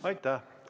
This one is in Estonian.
Aitäh!